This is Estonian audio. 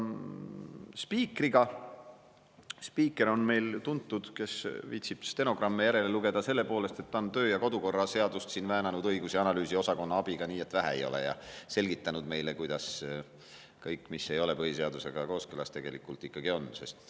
Spiiker on meil tuntud – kes viitsib stenogramme lugeda – selle poolest, et ta on kodu- ja töökorra seadust väänanud õigus- ja analüüsiosakonna abiga nii et vähe ei ole ja selgitanud meile, kuidas kõik, mis ei ole põhiseadusega kooskõlas, tegelikult ikkagi on.